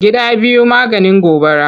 Gida biyu maganin gobara.